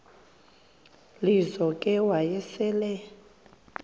lizo ke wayesel